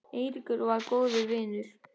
Eiríkur var góður vinur.